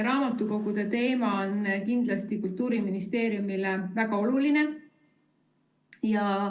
Raamatukogude teema on Kultuuriministeeriumile kindlasti väga oluline.